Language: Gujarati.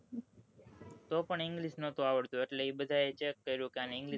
તો પણ english ન તું આવડતું એટલે એ બધા એ check કર્યું કે અને english